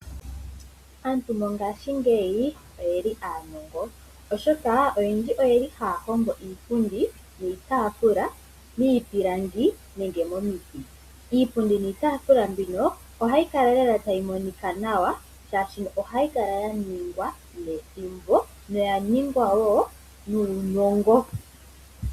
Aantu mongaashingeyi oyeli aanongo oshoka oyendji oyeli haahongo iipundi niitaafula miipilangi nenge momiti. Iipundi niitaafula mbino ohayi kala lela tayi monika nawa shaashino ohayi kala yaningwa nethimbo yo oyaningwa wo nuunongo.